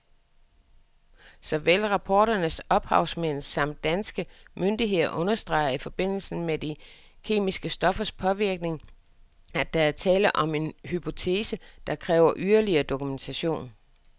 Såvel rapportens ophavsmænd samt danske myndigheder understreger i forbindelse med de kemiske stoffers påvirkning, at der er tale om en hypotese, der kræver yderligere dokumentation.